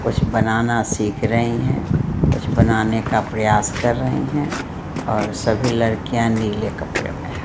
कुछ बनाना सीख रही है कुछ बनाने का प्रयास कर रही है सभी लड़कियाँ नीले कपड़े में है‌।